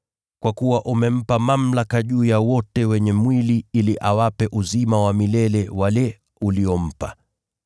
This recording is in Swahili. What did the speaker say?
Kwa kuwa umempa mamlaka juu ya wote wenye mwili ili awape uzima wa milele wale uliompa.